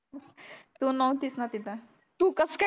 तू नव्हतीस ना तिथं तू कस काय